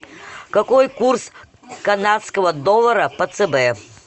какой курс канадского доллара по цб